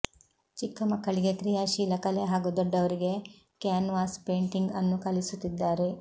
ಚಿಕ್ಕಮಕ್ಕಳಿಗೆ ಕ್ರಿಯಾಶೀಲ ಕಲೆ ಹಾಗೂ ದೊಡ್ಡವರಿಗೆ ಕ್ಯಾನ್ವಾಸ್ ಪೇಂಟಿಂಗ್ ಅನ್ನು ಕಲಿಸುತ್ತಿದ್ದಾರೆ